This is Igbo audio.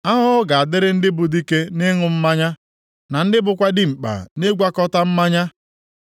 Ahụhụ ga-adịrị ndị bụ dike nʼịṅụ mmanya, na ndị bụkwa dimkpa nʼịgwakọta mmanya,